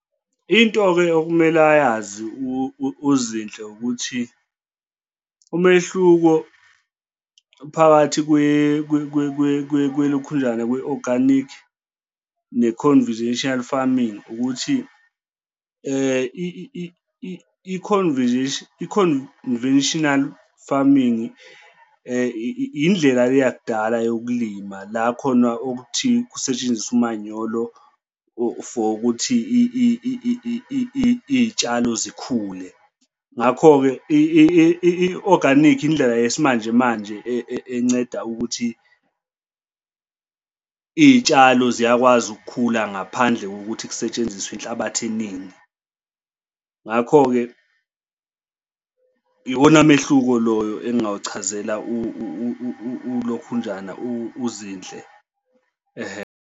Into-ke okumele ayazi uZinhle ukuthi umehluko phakathi kwelokhunjana kwe-organic ne-conventional farming ukuthi i-conventional farming indlela yakudala yokulima la khona okuthi kusetshenziswe umanyolo for ukuthi iy'tshalo zikhule. Ngakho-ke i-organic indlela yesimanje manje enceda ukuthi iy'tshalo ziyakwazi ukukhula ngaphandle kokuthi kusetshenziswe inhlabathi eningi. Ngakho-ke iwona mehluko loyo engingawuchazela ulokhunjana uZinhle, ehhe.